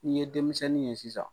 Ni ye denmisɛnnin ye sisan